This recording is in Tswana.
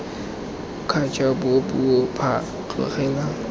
kgature bua puo phaa tlogela